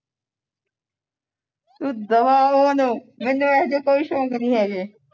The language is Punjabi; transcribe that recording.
ਤੂੰ ਦਫ਼ਾ ਹੋ ਉਹਨੂੰ ਮੈਨੂੰ ਹੋਏ ਐਹੋ ਜਿਹੇ ਸ਼ੌਕ ਹੈ ਨਹੀਂ